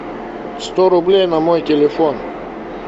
сто рублей на мой телефон